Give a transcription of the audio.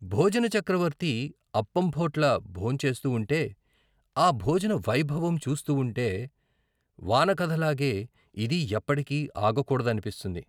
భోజన చక్రవర్తి అప్పంభొట్ల భోంచేస్తూ వుంటే ఆ భోజన వైభవం చూస్తూ వుంటే వాన కథలాగే ఇదీ ఎప్పటికీ ఆగకూడదనిపిస్తుంది.